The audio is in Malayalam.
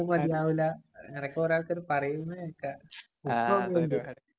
മതിയാവില്ല. അങ്ങനെ ഒക്കെ ഓരോത്തരു പറയുന്നെ കേക്കാം.